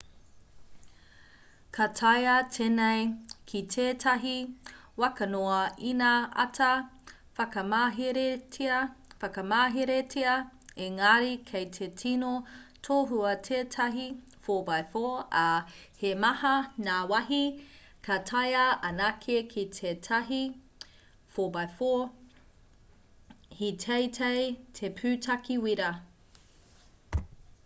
ka taea tēnei ki tētahi waka noa ina āta whakamaheretia engari kei te tino tohua tētahi 4x4 ā he maha ngā wāhi ka taea anake ki tētahi 4x4 he teitei te pūtake wīra